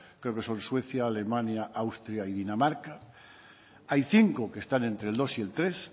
creo que son suecia alemania austria y dinamarca hay cinco que están entre el dos y el tres